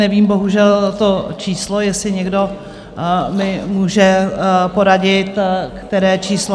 Nevím bohužel to číslo, jestli někdo mi může poradit, které číslo...